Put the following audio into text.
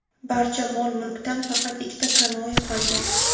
Barcha mol-mulkdan faqat ikkita kanoe qolgan.